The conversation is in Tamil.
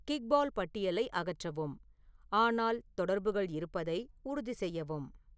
கிக்பால் பட்டியலை அகற்றவும் ஆனால் தொடர்புகள் இருப்பதை உறுதி செய்யவும்